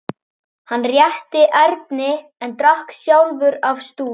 Hann rétti Erni en drakk sjálfur af stút.